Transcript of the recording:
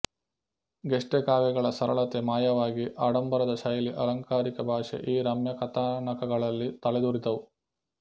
ಗೆಸ್ಟೆ ಕಾವ್ಯಗಳ ಸರಳತೆ ಮಾಯವಾಗಿ ಆಡಂಬರದ ಶೈಲಿ ಆಲಂಕಾರಿಕ ಭಾಷೆ ಈ ರಮ್ಯ ಕಥಾನಕಗಳಲ್ಲಿ ತಲೆದೋರಿದವು